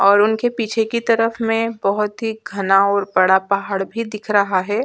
और उनके पीछे की तरफ में बहुत ही घना और बड़ा पहाड़ भी दिख रहा है ।